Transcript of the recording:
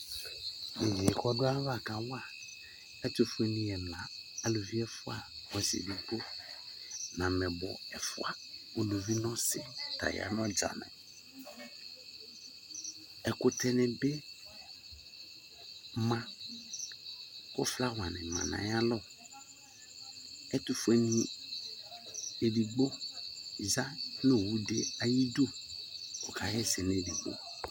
Yeye ko ava kawa ɛtofque ne ɛla , aluvi ɛfua ɔse edigbo no amɛbɔ ɛfua, uluvi no ɔse ta ya no ɔdzane ɛkutɛ ne be ma kɔ flawa ne ma no ayalɔ Ɛtofue ne edigbo ya no owu de ayidu ko ɔka yɛsɛ no edigbo